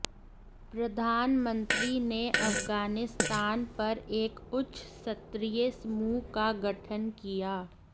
प्रधानमंत्री ने अफगानिस्तान पर एक उच्च स्तरीय समूह का गठन किया